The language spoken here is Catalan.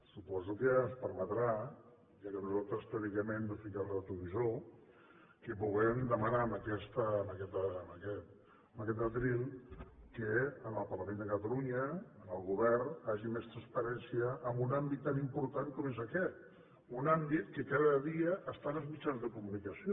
suposo que ens permetrà ja que nosaltres teòricament no fiquem el retrovisor que puguem demanar en aquest faristol que en el parlament de catalunya en el govern hi hagi més transparència en un àmbit tan important com és aquest un àmbit que cada dia està en els mitjans de comunicació